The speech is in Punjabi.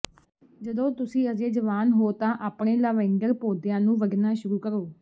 ਜਦੋਂ ਤੁਸੀਂ ਅਜੇ ਜਵਾਨ ਹੋ ਤਾਂ ਆਪਣੇ ਲਾਵੈਂਡਰ ਪੌਦਿਆਂ ਨੂੰ ਵੱਢਣਾ ਸ਼ੁਰੂ ਕਰੋ